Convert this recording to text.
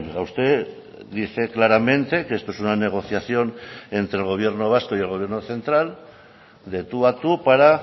a usted dice claramente que esto es una negociación entre el gobierno vasco y el gobierno central de tú a tú para